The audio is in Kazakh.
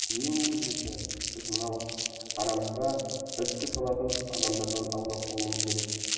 ең негізгісі біз мынау арамызға іріткі салатын адамдардан аулақ болуымыз керек